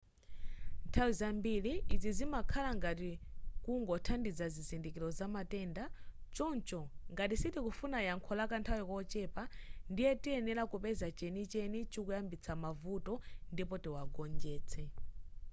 nthawi zambiri izi zimakhala ngati kungothandiza zizindikiro za matenda choncho ngati sitikufuna yankho la kanthawi kochepa ndiye tiyenera kupeza chenicheni chikuyambitsa mavuto ndipo tiwagonjetse